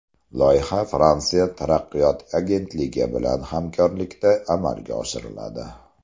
Loyiha Fransiya taraqqiyot agentligi bilan hamkorlikda amalga oshiriladi.